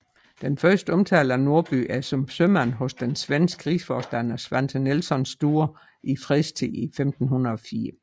Den første omtale af Norby er som sømand hos den svenske rigsforstander Svante Nilsson Sture i fredstid i 1504